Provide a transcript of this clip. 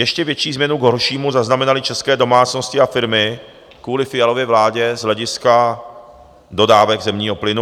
Ještě větší změnu k horšímu zaznamenaly české domácnosti a firmy kvůli Fialově vládě z hlediska dodávek zemního plynu.